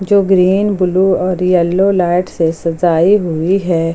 जो green blue और yellow light से सजाई हुई है।